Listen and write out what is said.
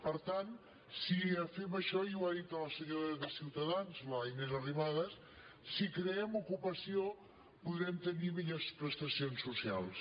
per tant si fem això i ho ha dit la senyora de ciutadans la inés arrimadas si creem ocupació podrem tenir millors prestacions socials